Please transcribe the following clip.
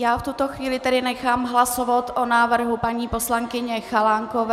Já v tuto chvíli tedy nechám hlasovat o návrhu paní poslankyně Chalánkové...